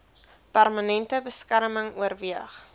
permanente beskerming oorweeg